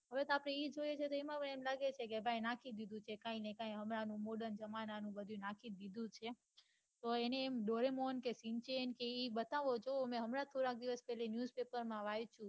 હવે કતો ઈ જોઈએ છે તો એમાં એવું લાગે છે ભાઈ નાખી દીઘું છે કાંઈ ને કાંઈ હમણાં નું modern જમાના નું બઘુ નાખી દીઘું છે તો એને એમ doremon કે shinchan કે એ બતાવો તો મેં હમણાં થોડા દિવસ news paper માં વાંચ્યું